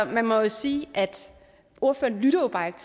man må jo sige at ordføreren jo bare ikke